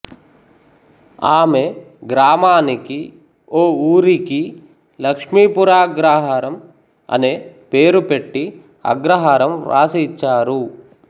ఆమె గ్రామానికి ఓ ఊరికి లక్ష్మీపురాగ్రహారం అనే పేరు పెట్టి అగ్రహారం వ్రాసియిచ్చారు